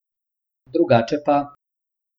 Drugače pa ...